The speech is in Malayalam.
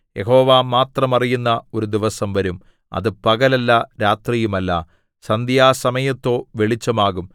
യഹോവ മാത്രം അറിയുന്ന ഒരു ദിവസം വരും അത് പകലല്ല രാത്രിയുമല്ല സന്ധ്യാസമയത്തോ വെളിച്ചമാകും